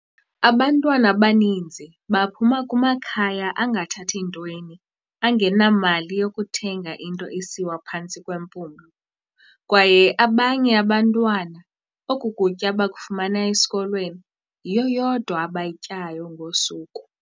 "Abantwana abaninzi baphuma kumakhaya angathathi ntweni, angenamali yokuthenga into esiwa phantsi kwempumlo, kwaye abanye abantwana oku kutya bakufumana esikolweni, yiyo yodwa abayityayo ngosuku."